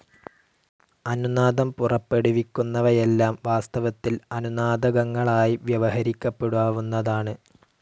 അനുനാദം പുറപ്പെടുവിക്കുന്നവയെല്ലാം വാസ്തവത്തിൽ അനുനാദകങ്ങളായി വ്യവഹരിക്കപ്പെടാവുന്നതാണ്.